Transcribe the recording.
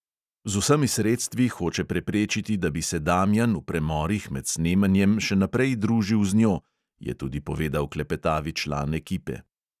"Z vsemi sredstvi hoče preprečiti, da bi se damjan v premorih med snemanjem še naprej družil z njo," je tudi povedal klepetavi član ekipe.